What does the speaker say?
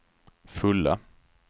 fulla